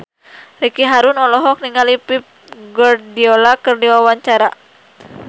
Ricky Harun olohok ningali Pep Guardiola keur diwawancara